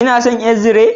Kina son ƴar zire?